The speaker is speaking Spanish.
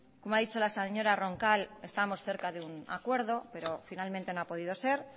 como ha dicho la señora roncal estamos cerca de un acuerdo pero finalmente no ha podido ser